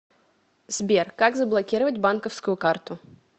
сбер как заблокировать банковскую карту